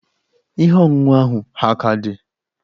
Ihe ọṅụṅụ ahụ ha a ka dị?